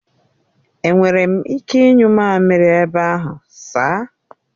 Enwere m ike ịnyu mamiri ebe ahụ sir?